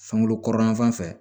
Sangolo kɔrɔnyanfan fɛ